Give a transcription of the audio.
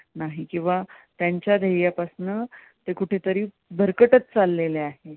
त्यांच्या ध्येया पासन कुठेतरी भरकटत चालले आहेत.